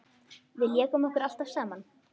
Við lékum okkur alltaf saman.